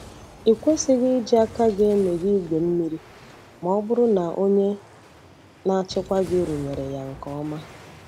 Ị kwesịghị iji aka emeghe igwe mmiri ma ọ bụrụ na onye na-achịkwa gị rụnyere ya nke ọma.